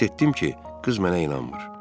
Hiss etdim ki, qız mənə inanmır.